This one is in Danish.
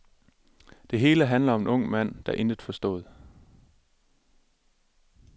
Det hele handler om en ung mand, der intet forstod.